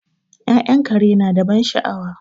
Ya'yan kare nada ban sha'awa